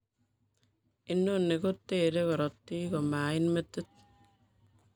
Inoni kotere korotik komait metit